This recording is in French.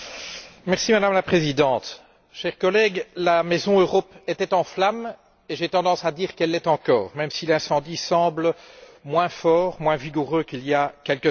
Madame la Présidente, chers collègues, la maison Europe était en flammes, et j'ai tendance à dire qu'elle l'est encore, même si l'incendie semble moins fort, moins vigoureux qu'il y a quelques années.